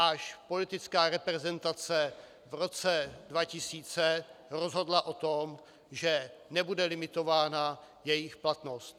Až politická reprezentace v roce 2000 rozhodla o tom, že nebude limitována jejich platnost.